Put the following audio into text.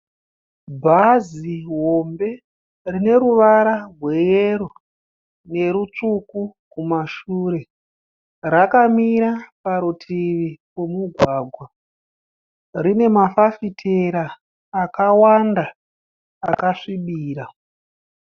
Bhazi hombe rine ruvara rweyero nerutsvuku kumashure. Rakamira parutivi pomugwagwa. Rine mafafitera akawanda akasvibira.